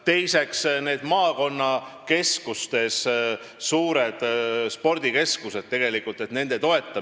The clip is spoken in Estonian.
Teiseks, suurte spordikeskuste toetamine maakonnakeskustes.